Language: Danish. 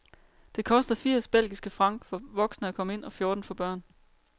Det koster firs belgiske franc for voksne at komme ind og fjorten for børn.